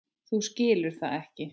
Þú skilur það ekki.